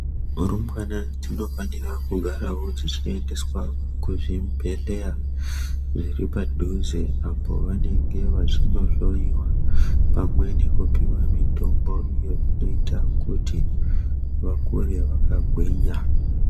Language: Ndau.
Rumbwana dzinofanira kugaravo dzichiendeswa kuchibhedhleya zviri padhuze. Apovanenge vachinohloiwa pamwe nekupiva mitombo iyo inoita kuti vakure vakagwinya.